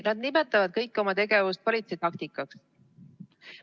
Nad nimetavad kogu oma tegevust politsei taktikaks.